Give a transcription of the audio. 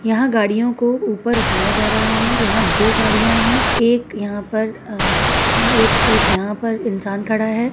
यहाँ गाड़ियों को ऊपर उठाया जा रहा है यहाँ दो गाड़ियाँ हैं एक यहाँ पर अह एक एक यहाँ पर इंसान खड़ा है।